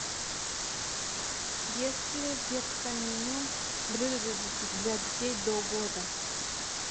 есть ли в детском меню блюда для детей до года